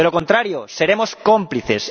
De lo contrario, seremos cómplices.